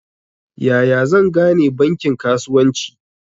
Yaya zan gane bankin kasuwanci?